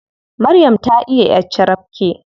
Maryam ta iya ƴar carabke.